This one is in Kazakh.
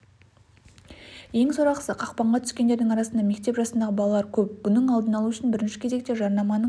ең сорақысы қақпанға түскендердің арасында мектеп жасындағы балалар көп бұның алдын алу үшін бірінші кезекте жарнаманың